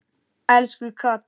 Elsku Katrín.